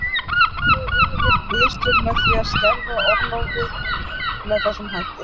Gerðu yfirvöld mistök með því að skerða orlofið með þessum hætti?